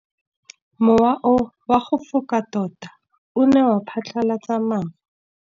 Mowa o wa go foka tota o ne wa phatlalatsa maru.